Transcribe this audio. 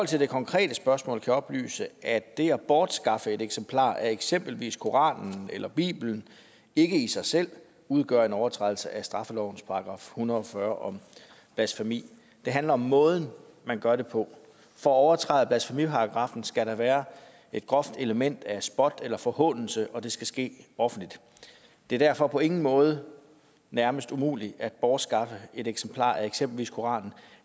til det konkrete spørgsmål kan jeg oplyse at det at bortskaffe et eksemplar af eksempelvis koranen eller bibelen ikke i sig selv udgør en overtrædelse af straffelovens § en hundrede og fyrre om blasfemi det handler om måden man gør det på for at overtræde blasfemiparagraffen skal der være et groft element af spot eller forhånelse og det skal ske offentligt det er derfor på ingen måde nærmest umuligt at bortskaffe et eksemplar af eksempelvis koranen